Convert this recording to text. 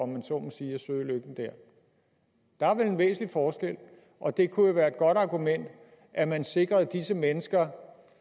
man så må sige at søge lykken der der er vel en væsentlig forskel og det kunne jo være et godt argument at man sikrede disse mennesker